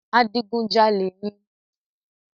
Adigunjalè ni.